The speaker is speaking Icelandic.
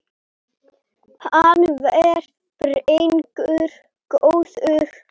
Hann var drengur góður